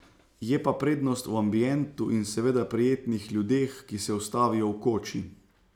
Je pa prednost v ambientu in seveda prijetnih ljudeh, ki se ustavijo v koči.